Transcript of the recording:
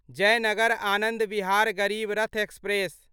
Jaynagar Anand Vihar Garib Rath express